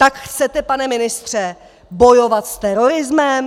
Tak chcete, pane ministře, bojovat s terorismem?